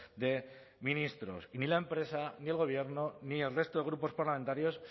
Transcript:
de ministros y ni la empresa ni el gobierno ni el resto de grupos parlamentarios